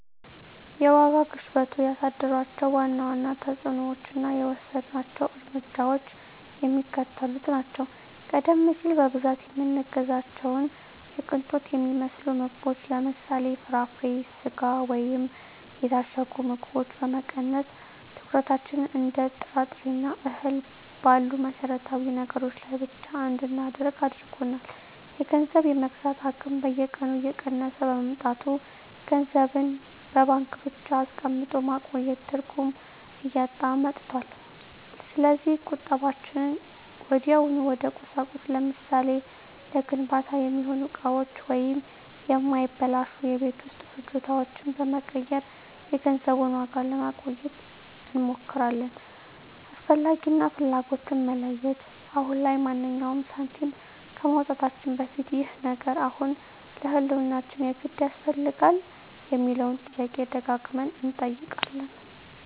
የዋጋ ግሽበቱ ያሳደራቸው ዋና ዋና ተፅዕኖዎችና የወሰድናቸው እርምጃዎች የሚከተሉት ናቸው፦ ቀደም ሲል በብዛት የምንገዛቸውን የቅንጦት የሚመስሉ ምግቦችን (ለምሳሌ፦ ፍራፍሬ፣ ስጋ ወይም የታሸጉ ምግቦች) በመቀነስ፣ ትኩረታችንን እንደ ጥራጥሬና እህል ባሉ መሠረታዊ ነገሮች ላይ ብቻ እንድናደርግ አድርጎናል። የገንዘብ የመግዛት አቅም በየቀኑ እየቀነሰ በመምጣቱ፣ ገንዘብን በባንክ ብቻ አስቀምጦ ማቆየት ትርጉም እያጣ መጥቷል። ስለዚህ ቁጠባችንን ወዲያውኑ ወደ ቁሳቁስ (ለምሳሌ፦ ለግንባታ የሚሆኑ እቃዎች ወይም የማይበላሹ የቤት ውስጥ ፍጆታዎች) በመቀየር የገንዘቡን ዋጋ ለማቆየት እንሞክራለን። "አስፈላጊ" እና "ፍላጎት"ን መለየት፦ አሁን ላይ ማንኛውንም ሳንቲም ከማውጣታችን በፊት "ይህ ነገር አሁን ለህልውናችን የግድ ያስፈልጋል?" የሚለውን ጥያቄ ደጋግመን እንጠይቃለን።